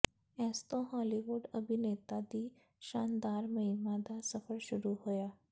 ਇਸ ਤੋਂ ਹਾਲੀਵੁੱਡ ਅਭਿਨੇਤਾ ਦੀ ਸ਼ਾਨਦਾਰ ਮਹਿਮਾ ਦਾ ਸਫ਼ਰ ਸ਼ੁਰੂ ਹੋਇਆ